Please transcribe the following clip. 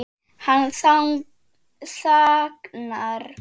Hann þagnar.